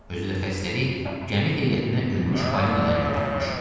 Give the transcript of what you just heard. Özü də xəstəlik gəmi heyətinə ölmüş balinadan yoluxubmuş.